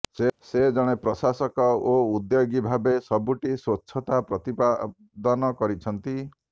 ସେ ଜଣେ ପ୍ରାଶାସକ ଓ ଉଦ୍ୟୋଗୀ ଭାବେ ସବୁଠି ସ୍ବଚ୍ଛତା ପ୍ରତିପାଦନ କରିଛନ୍ତି